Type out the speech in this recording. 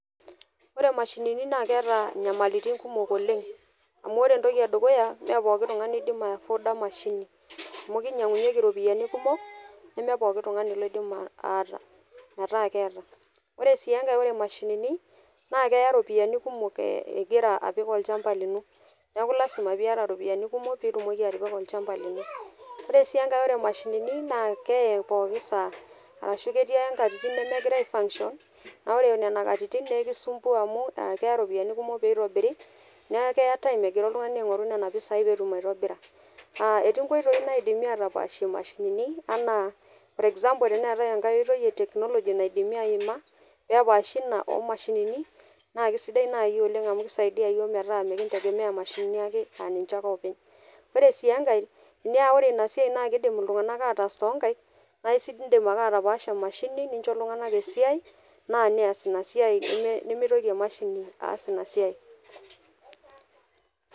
ore imashinini naa keeta inyamailitin kumok oleng' amuu ore entoki ee dukuya mee pookin tung'ani oidim ai[afford a emashini amu kenyang'unyieki iropiyiani kumok nemepooki tung'ani oidim aata ataa keeta ore sii enkae oree imashinini naa keya iropiyiani kumok ingira apik olchampa lino neeku lasima peeiyata iropiyiani kumok piitumoki atipika olchampa lino oree sii enkae oree imashainini naa kee pooki saa ashuu ketii ake inkatitin nemegira ai fanction naa ore nena katitin naa ekisumpua amuu keya iropitiani kumok pee eitobiri neeku keya time egira oltung'ani aing'oru nena pisai peetum aitobira naa etii inkoitoi naidimi aatapashie imashinini enaa for example neetae enkae oitoi ee technology naidimi aima peepaashi ina oo mashinini naa keisidai nayii oleng' amu keisaidia iyiok metaa mikintegemea imashinini ake aa ninche ake oopeny ore sii enkae naa ore ina siai naa kiidim iltung'anak aatas toonkaek naa iindim ake atapaasha enmashini nincho iltung'anak esiai naa neas ina siai nemeitoki emashini aas ina siai.